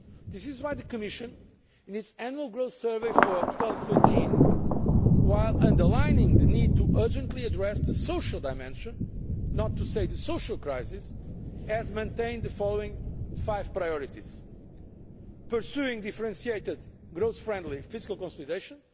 That is why the Commission, in its annual growth survey for 2013, while underlining the need to urgently address the social dimension or indeed the social crisis has maintained the following 5 priorities pursuing differentiated, growth friendly fiscal consolidation